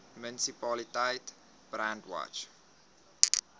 munisipaliteit brandwatch